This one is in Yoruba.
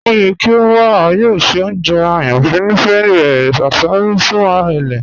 O yẹ kí o wà, a yọọ ṣẹ ọ̀njẹ ayànífẹ̀ rẹ; àṣárọ̀ fún ẹlẹ̀.